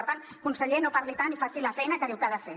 per tant conseller no parli tant i faci la feina que diu que ha de fer